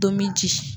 Tominji ye